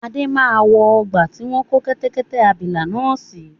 Adé máa wọ ọgbà tí wọn kò kẹ́tẹ́kẹ́tẹ́ abìlà náà si